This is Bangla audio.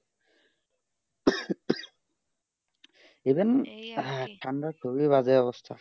even ঠান্ডার খুবই বাজে অবস্থা